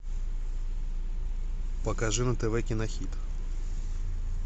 покажи на тв кинохит